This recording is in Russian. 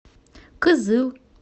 кызыл